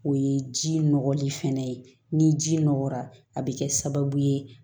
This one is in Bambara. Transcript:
O ye ji nɔgɔli fɛnɛ ye ni ji nɔgɔra a bɛ kɛ sababu ye